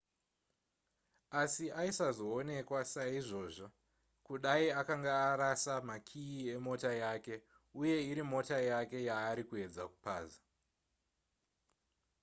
asi aisazoonekwa saizvozvo kudai akanga arasa makiyi emota yake uye iri mota yake yaari kuedza kupaza